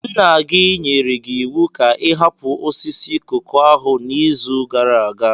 Nna gị nyere gị iwu ka ị hapụ osisi koko ahụ n'izu gara aga.